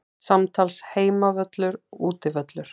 Samtals Heimavöllur Útivöllur